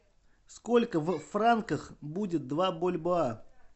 сколько в франках будет два бальбоа